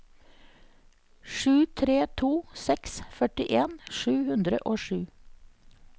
sju tre to seks førtien sju hundre og sju